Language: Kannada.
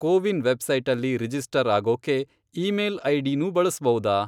ಕೋವಿನ್ ವೆಬ್ಸೈಟಲ್ಲಿ ರಿಜಿಸ್ಟರ್ ಆಗೋಕ್ಕೆ ಈಮೇಲ್ ಐಡಿನೂ ಬಳಸ್ಬಹುದಾ?